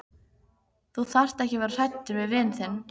Þú þarft ekki að vera hræddur við vin þinn.